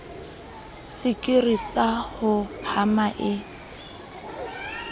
sekiri sa ho hama e